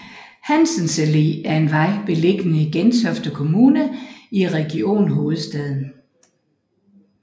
Hansens Allé er en vej beliggende i Gentofte Kommune i Region Hovedstaden